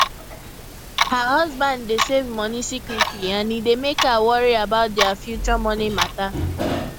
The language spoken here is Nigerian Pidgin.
her husband dey save money secretly and e dey mek her worry about their future money matter